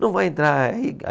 Não vai entrar.